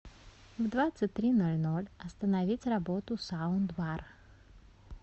в двадцать три ноль ноль остановить работу саундбар